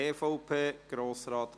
Finanzpolitisches Umfeld (Seite 7)